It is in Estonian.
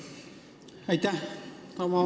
Aitäh!